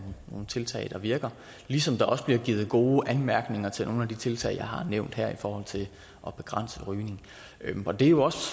nogle tiltag der virker ligesom der også bliver givet gode anmærkninger til nogle af de tiltag jeg har nævnt her i forhold til at begrænse rygning det er jo også